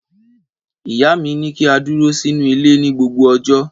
Ìyá mi ní kí á dúró sínú ilé ní gbogbo ọjọ́.